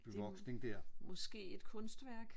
Det er jo måske et kunstværk